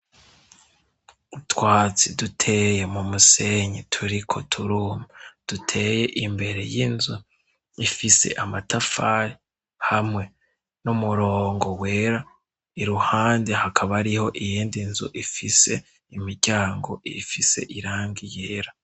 Utwatsi duteye mu musenyi turiko turuma duteye imbere y'inzu ifise amatafari hamwe n'umurongo wera iruhande hakaba ariho iyindi nzu ifise imiryango ifise iranga yera.